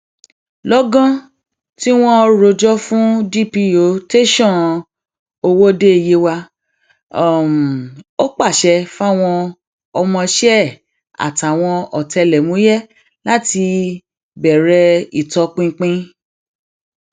lọgán tí wọn rojọ yìí fún dp tẹsán um ọwọde yewa ò pàṣẹ fáwọn ọmọọṣẹ ẹ àtàwọn ọtẹlẹmúyẹ láti bẹrẹ um ìtọpinpin